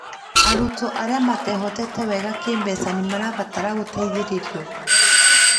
Arutwo arĩa matehotete wega kĩ mbeca nĩ marabatara gũteithĩrĩrio